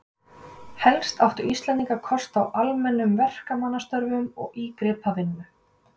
Helst áttu Íslendingar kost á almennum verkamannastörfum og ígripavinnu.